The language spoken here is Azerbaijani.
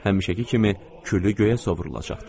Həmişəki kimi küllü göyə sovurulacaqdı.